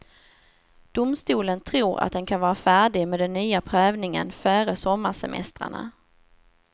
Domstolen tror att den kan vara färdig med den nya prövningen före sommarsemestrarna.